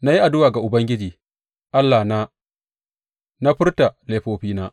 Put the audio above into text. Na yi addu’a ga Ubangiji Allahna na furta laifina.